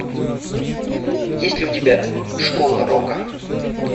есть ли у тебя школа рока